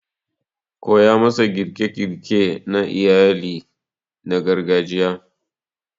koya masa girke-girke na iyali na gargajiya